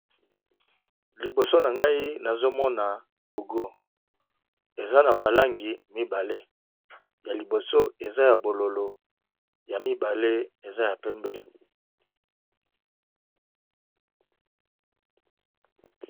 Liboso na ngai nazomona logo eza na ba langi mibale ya liboso eza ya bololo ya mibale eza ya pembe.